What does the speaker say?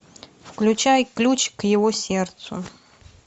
включай ключ к его сердцу